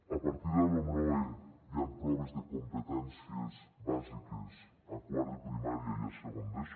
a partir de la lomloe hi han proves de competències bàsiques a quart de primària i a segon d’eso